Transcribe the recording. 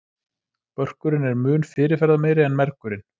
Börkurinn er mun fyrirferðameiri en mergurinn.